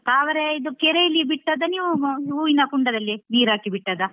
ತಾವರೆ ಇದುಕೆರೆಯಲ್ಲಿ ಬಿಟ್ಟದ್ದ ನೀವು ಹೂವಿನ ಕುಂಡದಲ್ಲೇ ನೀರ್ ಹಾಕಿ ಬಿಟ್ಟದ್ದಾ?